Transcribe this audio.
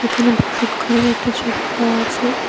এখানে বসত ঘরের একটা ছবি দেওয়া আছে।